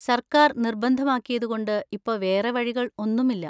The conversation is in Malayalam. സര്‍ക്കാര്‍ നിർബന്ധം ആക്കിയതുകൊണ്ട് ഇപ്പൊ വേറെ വഴികൾ ഒന്നും ഇല്ല.